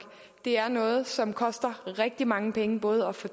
det er noget som koster rigtig mange penge både at få